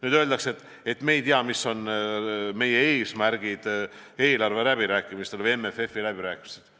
Nüüd öeldakse, et me ei tea, mis on meie eesmärgid eelarveläbirääkimistel või MFF-i läbirääkimistel.